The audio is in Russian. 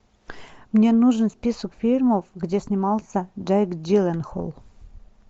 мне нужен список фильмов где снимался джейк джилленхол